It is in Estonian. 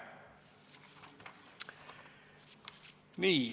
Nii.